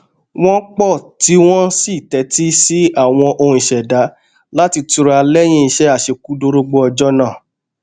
wọn po tíì wọn sì tẹtí sí àwọn ohùn ìṣẹdá láti tura lẹyìn iṣẹ àṣekúdórógbó ọjọ náà